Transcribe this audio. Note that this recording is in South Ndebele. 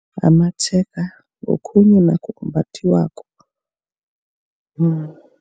Amatshega ngokhunye nakho okumbathiwako